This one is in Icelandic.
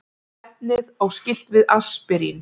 Efnið á skylt við aspirín.